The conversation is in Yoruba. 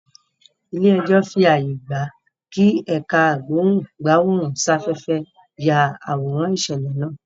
Ilé ẹjọ́ fí ààyè gbà kí ẹ̀ká ìgbóhùn-gbáwòrán-sáfẹ́fẹ́ yá àwòrán ìṣẹ̀lẹ̀ náà